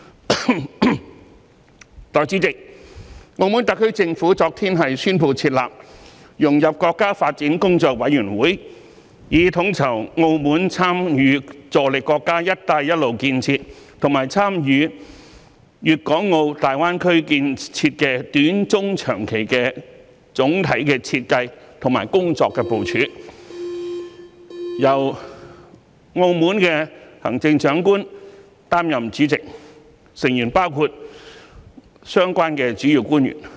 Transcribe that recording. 代理主席，澳門特區政府昨天宣布設立融入國家發展工作委員會，以統籌澳門參與助力國家"一帶一路"建設和參與大灣區建設的短、中、長期的總體設計及工作部署，由澳門行政長官擔任主席，成員包括相關主要官員。